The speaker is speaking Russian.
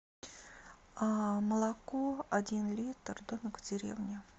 молоко один литр домик в деревне